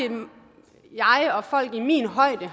jeg og folk i min højde